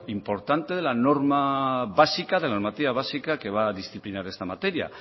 importante de la norma básica de la normativa básica que va a disciplinar esta materia